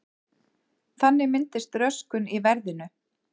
Þannig myndist röskun í verðinu.